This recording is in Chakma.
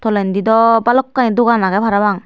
tolendi daw balokkani dogan agey parapang.